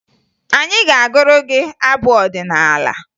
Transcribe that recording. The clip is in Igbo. Anyị ga-agụrụ gị abụ ọdịnaala